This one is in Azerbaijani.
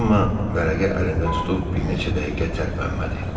Cemma vərəqə əlində tutub bir neçə dəqiqə tərpənmədi.